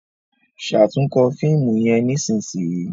ṣatunkọ fíìmù yén nísìsiyìí!